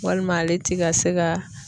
Walima ale te ka se ga